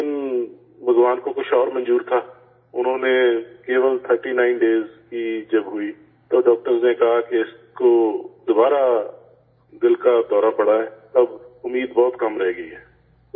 لیکن بھگوان کو کچھ اور منظور تھا، انہوں نے، صرف 39 دنوں کی جب ہوئی تب ڈاکٹر نے کہا کہ اس کو دوبارہ دل کا دوڑہ پڑا ہے، اب امید بہت کم رہ گئی ہے